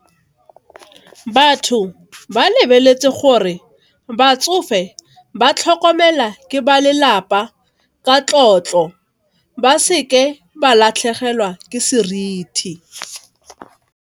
Batho ba lebeletse gore, batsofe ba tlhokomelwa ke ba lelapa ka tlotlo, ba seke ba latlhegelwa ke seriti.